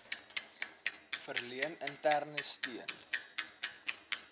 verleen interne steun